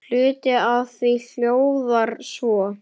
Hluti af því hljóðar svo